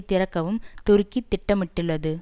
திறக்கவும் துருக்கி திட்டமிட்டுள்ளது